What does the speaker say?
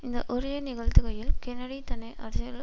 இந்த உரையை நிகழ்த்துகையில் கென்னடி தன்னை அரசியலில்